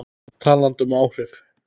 Talandi um áhrif.